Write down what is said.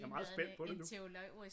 Jeg er meget spændt på det nu